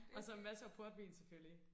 Og så masser af portvin selvfølgelig